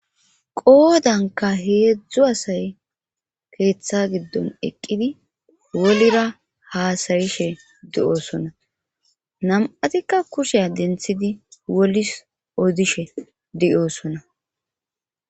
Qoodanka heedzdzu asay keeththa giddon eqqidi wolira haasayishe de'oosona nam'atikka kushe denthidi wolis odishe deyoosona.